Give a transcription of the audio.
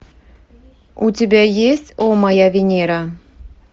у тебя есть о моя венера